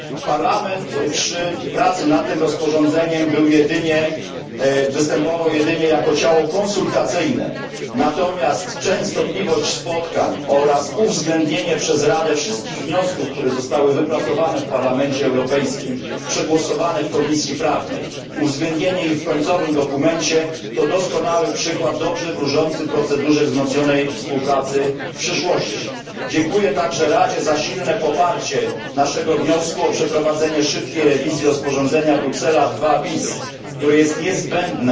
Parlament przy pracy nad tym rozporządzeniem występował jedynie jako ciało konsultacyjne, natomiast częstotliwość spotkań oraz uwzględnienie przez Radę wszystkich wniosków, które zostały wypracowane w Parlamencie Europejskim, przegłosowane w Komisji Prawnej, uwzględnienie ich w końcowym dokumencie, to doskonały przykład dobrze wróżący procedurze wzmocnionej współpracy na przyszłość. Dziękuję także Radzie za silne poparcie naszego wniosku o przeprowadzenie szybkiej rewizji rozporządzenia Bruksela II bis, które jest niezbędne,